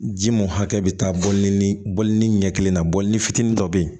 Ji mun hakɛ bɛ taa bɔ ni bɔlini ɲɛ kelen na bɔli fitinin dɔ be yen